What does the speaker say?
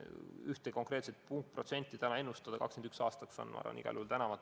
Ühte konkreetset protsenti 2021. aastaks ennustada on igal juhul tänamatu.